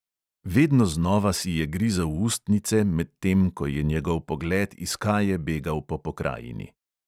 Vedno znova si je grizel ustnice, medtem ko je njegov pogled iskaje begal po pokrajini.